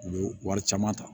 U bɛ wari caman ta